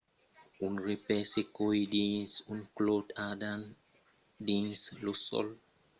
un repais se còi dins un clòt ardent dins lo sòl